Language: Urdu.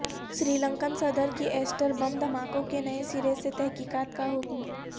سری لنکن صدر کی ایسٹر بم دھماکوں کی نئے سرے سے تحقیقات کا حکم